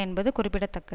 என்பது குறிப்பிட தக்கது